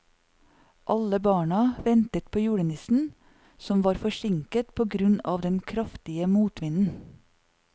Alle barna ventet på julenissen, som var forsinket på grunn av den kraftige motvinden.